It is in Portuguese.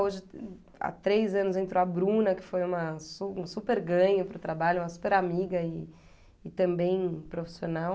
Hoje, há três anos, entrou a Bruna, que foi uma su um super ganho para o trabalho, uma super amiga e e também profissional.